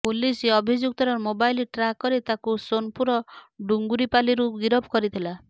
police ଅଭିଯୁକ୍ତର mobile track କରି ତାକୁ ସୋନପୁର ଡୁଙ୍ଗୁରିପାଲିରୁ ଗିରଫ କରିଥିଲା